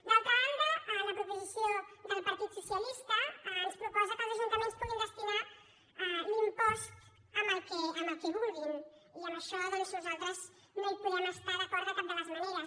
d’altra banda la proposició del partit socialista ens proposa que els ajuntaments puguin destinar l’impost al que vulguin i en això doncs nosaltres no hi podem estar d’acord de cap de les maneres